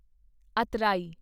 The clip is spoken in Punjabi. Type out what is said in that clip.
ਅਤਰਾਈ